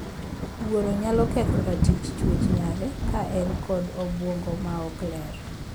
Wuoro nyalo ketho ratich chuech nyare ka en kod obuongo ma ok ler.